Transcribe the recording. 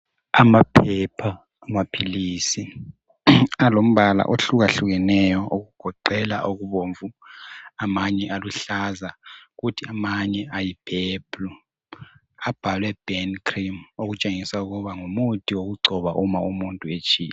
Amaphepha amaphilisi alombala ohlukahlukeneyo okugoqela okubomvu amanye aluhlaza kuthi amanye ayi purple abhalwe burn cream okutshengisa ukuba ngumuthi wokugcoba uma umuntu etshile.